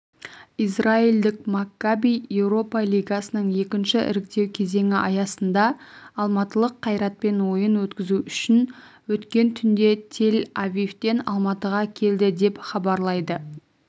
израильдік маккаби еуропа лигасының екінші іріктеу кезеңі аясында алматылық қайратпен ойын өткізу үшін өткен түнде тель-авивтен алматыға келді деп хабарлайды